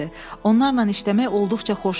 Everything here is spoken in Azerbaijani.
Onlarla işləmək olduqca xoş idi.